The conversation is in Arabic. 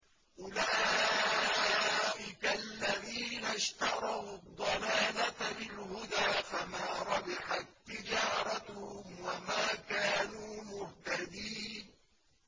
أُولَٰئِكَ الَّذِينَ اشْتَرَوُا الضَّلَالَةَ بِالْهُدَىٰ فَمَا رَبِحَت تِّجَارَتُهُمْ وَمَا كَانُوا مُهْتَدِينَ